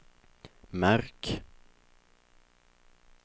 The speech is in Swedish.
märk